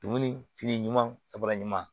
Dumuni fili ɲuman ka sɔrɔ ɲuman